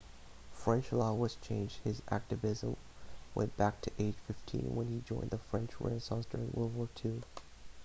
french law was changed his activism went back to age 15 when he joined the french resistance during world war ii